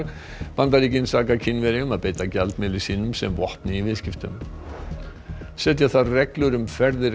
Bandaríkin saka Kínverja um að beita gjaldmiðli sínum sem vopni í viðskiptum setja þarf reglur um ferðir